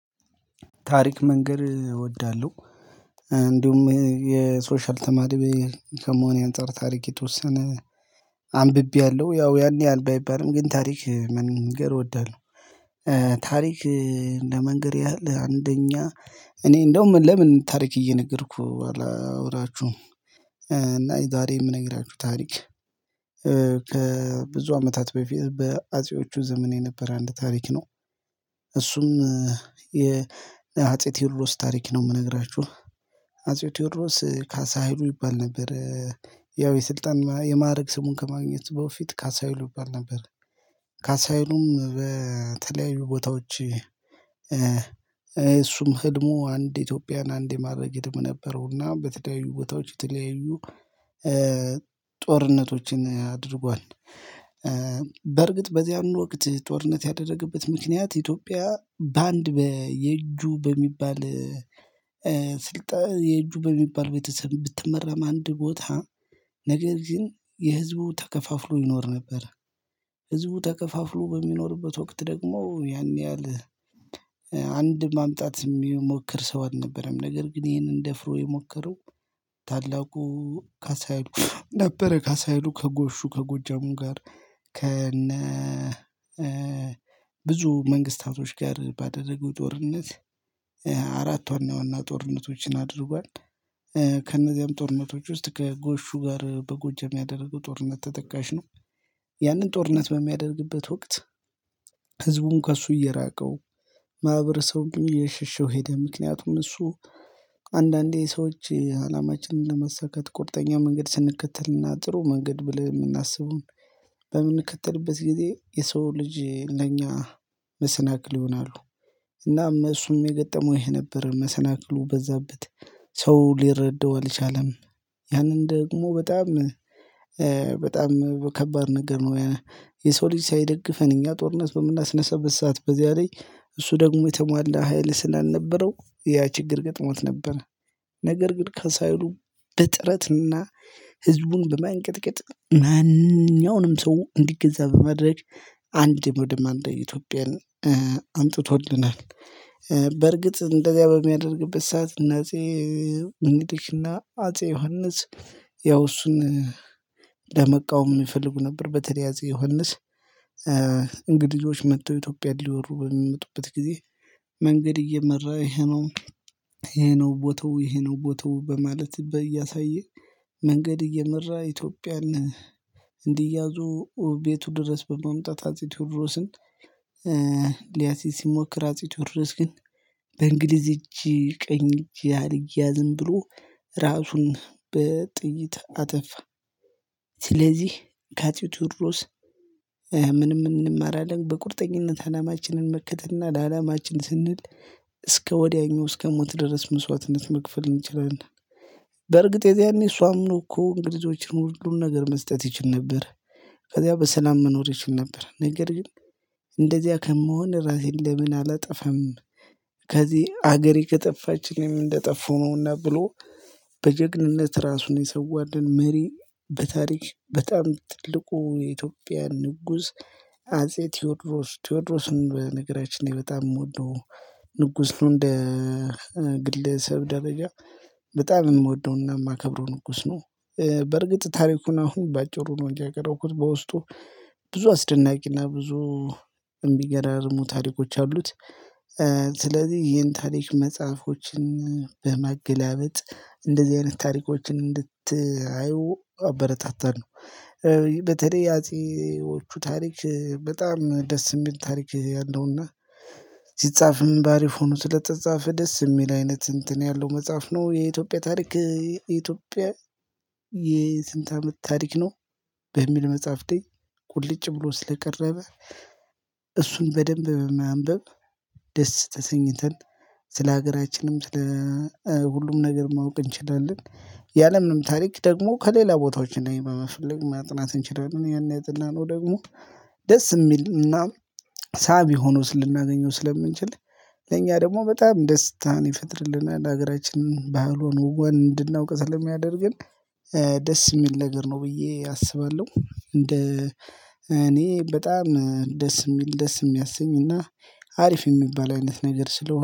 ታሪክ መንገር እወዳለሁ። እንዲሁም የሶሻል ተማሪ ከመሆኔ አንፃር ታሪክ የተወሰነ አንብቤያለሁ ያው ያን ያህል ባይባልም ግን ታሪክ መንገር እወዳለሁ። ታሪክ ለመንገር ያህል አንደኛ እኔ እንደውም ለምን ታሪክ እየነገርኩ አላወራችሁም? እና ዛሬ የምነግራችሁ ታሪክ ከብዙ አመታት በፊት በአጼዎቹ ዘመን የነበረ አንድ ታሪክ ነው። እሱም የ አጼ ቴዎድሮስ ታሪክ ነው የምነግራችሁ። አጼ ቴዎድሮስ ካሳ ሀይሉ ይባል ነበር። ያው የስልጣን የማዕረግ ስሙን ከማግኘት በፊት ካሳ ሀይሉ ይባል ነበር። ካሳ ሀይሉም በተለያዩ ቦታዎች እሱም ህልሙ አንድ ኢትዮጵያን አንድ የማድረግ ህልም ነበረው እና በተለያዩ ቦታዎች የተለያዩ ጦርነቶችን አድርጓል። በርግጥ በዚያን ወቅት ጦርነት ያደረገበት ምክንያት ኢትዮጵያ በአንድ በየጁ በሚባል ስልጣን የእጁ በሚባል ቤተሰብ ብትመራም አንድ ቦታ ነገር ግን የህዝቡ ተከፋፍሎ ይኖር ነበር። ህዝቡ ተከፋፍሎ በሚኖርበት ወቅት ደግሞ ያን ያህል አንድ ማምጣት የሚሞክር ሰው አልነበረም። ነገር ግን ይሄንን ደፍሮ የሞከረው ታላቁ ካሳ ሀይሉ ነበረ። ካሳ ሀይሉ ከጎሹ ከጎጃሙ ጋር ከነ ብዙ መንግስታቶች ጋር ባደረገው ጦርነት አራት ዋና ዋና ጦርነቶችን አድርጓል። ከእነዚያም ጦርነቶች ውስጥ ከጎሹ ጋር በጎጃም ያደረገው ጦርነት ተጠቃሽ ነው። ያንን ጦርነት በሚያደርግበት ወቅት ህዝቡን ከእሱ እየራቀው ማህበረሰቡም እየሸሸው ሄደ። ምክንያቱም እሱ እንድ አንዳንዴ ሰዎች አላማችንን ለማሳካት ቁርጠኛ መንገድ ስንከተልና ጥሩ መንገድ ብለን የምናስበውን በምንከተልበት ጊዜ የሰው ልጅ ለኛ መሰናክል ይሆናሉ። እናም እሱም የገጠመው ይሄ ነበር መሰናክሉ በዛበት ሰው ሊረዳው አልቻለም። ያንን ደግሞ በጣም በጣም ከባድ ነገር ነው። የሰው ልጅ ሳይደግፈን እኛ ጦርነት በምናስነሳበት ሰዓት በዚያ ላይ እሱ ደግሞ የተሟላ ሀይል ስላልነበረው ያ ችግር ገጥሞት ነበር። ነገር ግን ካሳ ሀይሉ በጥረትና ህዝቡን በማንቀጥቀጥ ማንኛውንም ሰው እንዲገዛ በመድረግ አንድ ወደ አንድ ኢትዮጵያን አምጥቶልናል። በርግጥ እንደዚያ በሚያደርግበት ሰዓት እነ አጼ ሚኒሊክና አጼ ዮሐንስ ያው እሱን ለመቃወም ይፈልጉ ነበር በተለያዘ አጼ ዮሐንስ እንግዲህ ልጆች መጥተው ኢትዮጵያን ሊወሩ በሚመጡበት ጊዜ መንገድ እየመራ ይሄ ነው። ይሄ ነው ቦታው ይሄ ነው ቦታው በማለት በ እያሳየ መንገድ እየመራ ኢትዮጵያን እንዲያዙ ቤቱ ድረስ በማምጣት አጼ ቴዎድሮስን። ሊያሲዝ ሲሞክር አጼ ቴዎድሮስ ግን በእንግሊዝ እጅ ቀኝ እጅ አልያዝም ብሎ ራሱን በጥይት አጠፋ። ስለዚህ ከአጼ ቴዎድሮስ ምንም እንማራለን በቁርጠኝነት አላማችንን መከተልና ለአላማችን ስንል እስከ ወዲያኛው እስከ ሞት ድረስ መስዋዕትነት መክፈል እንችላለንና። በእርግጥ የዚያኔ እሱ አምኖ እኮ እንግሊዞችን ሁሉን ነገር መስጠት ይችል ነበር። ከዚያ በሰላም መኖር ይችል ነበር ነገር ግን እንደዚያ ከምሆን ራሴን ለምን አላጠፋም? ከዚህ ሀገሬ ከጠፋችኝ እኔም እንደጠፋው ነውና ብሎ በጀግንነት ራሱን የሰዋልን መሪ በታሪክ በጣም ትልቁ የኢትዮጵያ ንጉስ አጼ ቴዎድሮስ ቴዎድሮስን በነገራችን ላይ በጣም የምወደው ንጉስ ነው እንደ ግለሰብ ደረጃ በጣም የምወደውና የማከብረው ንጉስ ነው። በእርግጥ ታሪኩን አሁን በአጭሩ ነው እንጂ ያቀረብኩት በውስጡ ብዙ አስደናቂና ብዙ እሚገራርሙ ታሪኮች አሉት። ስለዚህ ይህን ታሪክ መጽሐፎችን በማገላበጥ እንደዚህ አይነት ታሪኮችን እንድትአዩ አበረታታለው። በተለይ የአጼዎቹ ታሪክ በጣም ደስ የሚል ታሪክ ያለውና ሲጻፍም ባሪፍ ሆኖ ስለተጻፈ ደስ የሚል አይነት እንትን ያለው መጽሐፍ ነው የኢትዮጵያ ታሪክ የኢትዮጵያ የስንት አመት ታሪክ ነው። በሚል መጽሐፍቴ ቁልጭ ብሎ ስለቀረበ እሱን በደንብ በማንበብ ደስ ተሰኝተን ስለሀገራችንም ስለ ሁሉም ነገር ማወቅ እንችላለን። ያለምንም ታሪክ ደግሞ ከሌላ ቦታዎች እናይ በመፈለግ ማጥናት እንችላለን። ያን ያጠናነው ደግሞ ደስ የሚልና ሳቢ ሆኖስ ልናገኘው ስለምንችል ለኛ ደግሞ በጣም ደስታን ይፈጥርልናል ሀገራችንን ባህሉን ወጓን እንድናውቅ ስለሚያደርገን። ደስ የሚል ነገር ነው ብዬ አስባለሁ። እንደ እኔ በጣም ደስ የሚል ደስ የሚያሰኝና አሪፍ የሚባል አይነት ነገር ስለሆነ